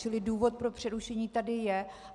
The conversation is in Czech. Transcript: Čili důvod pro přerušení tady je.